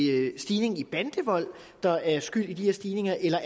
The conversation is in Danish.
er en stigning i bandevold der er skyld i de her stigninger eller